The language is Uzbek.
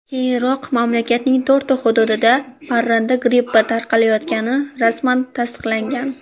Keyinroq mamlakatning to‘rtta hududida parranda grippi tarqalayotgani rasman tasdiqlangan .